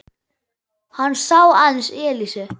Hann sá aðeins Elísu.